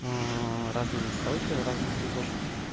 аа разные настройки в разных игрушках